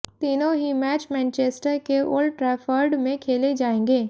तीनों ही match Manchester के ओल्ड ट्रैफर्ड में खेले जाएंगे